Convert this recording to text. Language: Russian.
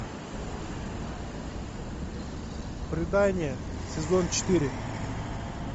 предание сезон четыре